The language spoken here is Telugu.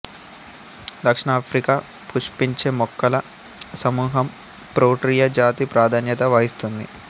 దక్షిణాఫ్రికా పుష్పించే మొక్కల సమూహం ప్రోటీయ జాతి ప్రాధాన్యత వహిస్తుంది